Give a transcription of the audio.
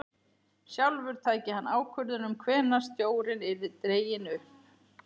Sjálfur tæki hann ákvörðun um hvenær stjórinn yrði dreginn upp.